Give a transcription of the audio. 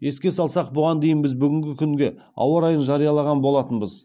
еске салсақ бұған дейін біз бүгінгі күнге ауа райын жариялаған болатынбыз